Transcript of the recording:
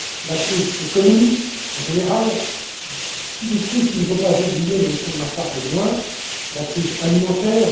La crise économique, en général, et puis des crises qu'il ne faut pas oublier, même si on n'en parle moins, comme la crise alimentaire.